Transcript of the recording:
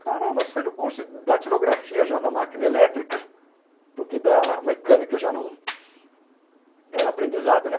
Caramba, saí do curso de datilografia já na máquina elétrica, porque da mecânica já não... era aprendizado, né?